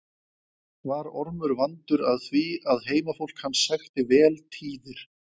Var Ormur vandur að því að heimafólk hans sækti vel tíðir.